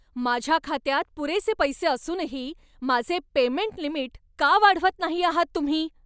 माझ्या खात्यात पुरेसे पैसे असूनही माझे पेमेंट लिमिट का वाढवत नाही आहात तुम्ही?